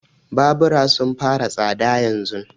Babura sun fara tsada yanzun.